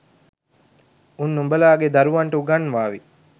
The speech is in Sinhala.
උන් උඹලාගේ දරුවන්ට උගන්වාවි